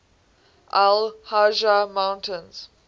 al hajar mountains